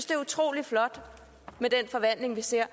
det er utrolig flot men den forvandling vi ser